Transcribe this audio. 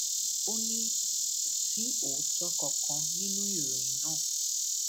ó ní kò sí òótọ kankan nínú ìròyìn náà